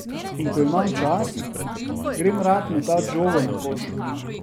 In ko imam čas, grem rad metat žogo na koš.